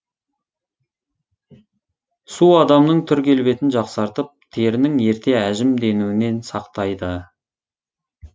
су адамның түр келбетін жақсартып терінің ерте әжім денуінен сақтайды